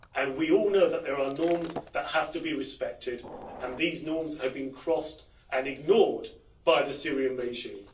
We all know that there are norms that have to be respected, and these norms have been crossed and ignored by the Syrian regime.